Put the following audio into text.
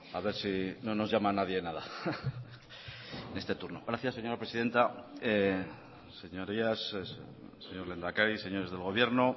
a ver si no nos llama nadie nada en este turno gracias señora presidenta señorías señor lehendakari señores del gobierno